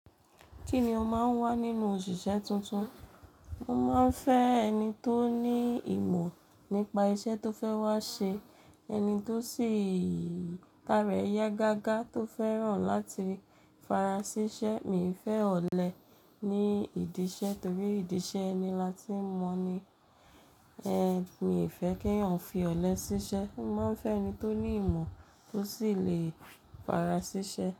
Kí ni o máa ń wá nínú òṣìṣẹ́ tuntun? Mo máa ń fẹ́ ẹni tó ní ìmọ̀ nípa iṣẹ́ tó fẹ́ wá ṣe, ẹni tó sì tára rẹ̀ yá gágá tó fẹ́ràn láti farasiṣẹ́. Mi ò fẹ́ ọ̀lẹ ní ìdí iṣẹ́ torí ìdí iṣẹ́ ni lati mọ̀ ni. Ẹ̀, mi ò fẹ́ kí ń fi ọ̀lẹ ṣiṣẹ́. Mo máa ń fẹ́ ẹni tó ní ìmọ̀ tó sì lè farasiṣẹ́.